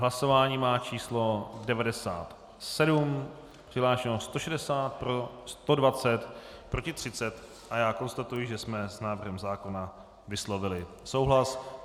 Hlasování má číslo 97, přihlášeno 160, pro 120, proti 30 a já konstatuji, že jsme s návrhem zákona vyslovili souhlas.